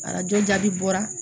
Arajo jaabi bɔra